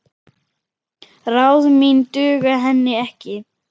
Ráð mín duga henni ekki.